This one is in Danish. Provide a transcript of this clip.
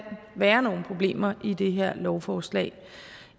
være nogle problemer i det her lovforslag det